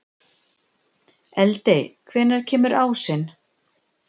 Eldey, hvenær kemur ásinn?